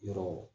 Yɔrɔ